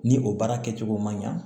Ni o baara kɛcogo man ɲa